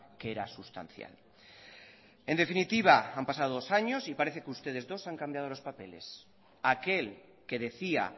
que era sustancial en definitiva han pasado dos años y parece que ustedes dos han cambiado los papeles aquel que decía